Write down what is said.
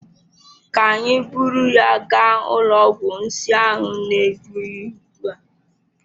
Ka anyị buru ya gaa ụlọ ọgwụ nsi ahụ na-egbu ya ugbua.